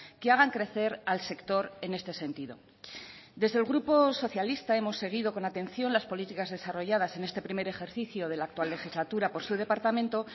que hagan crecer al sector en este sentido desde el grupo socialista hemos seguido con atención las políticas desarrolladas en este primer ejercicio de la actual legislatura por su departamento